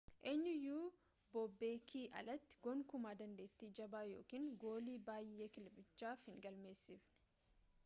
eenyuyyuu boobeekii alatti gonkumaa dandeetti jabaa yookaan goolii bayyee kilabichaaf hin galmeesisne